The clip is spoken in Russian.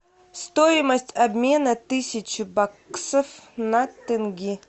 стоимость обмена тысячи баксов на тенге